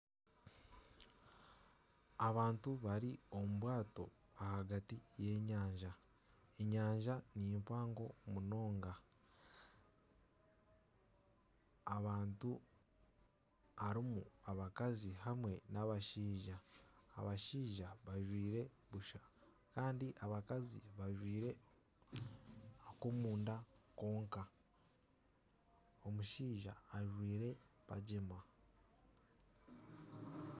Abantu bari omu bwato ahagati y'enyanja, enyanja ni mpango munonga. Abantu harimu abakazi hamwe n'abashaija. Abashaija bajwaire busha. Kandi abakazi bajwaire ak'omunda konka. Omushaija ajwaire pajema.